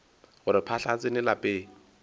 gore phahla e tsene lapeng